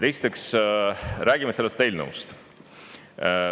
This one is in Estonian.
Esiteks räägime sellest eelnõust.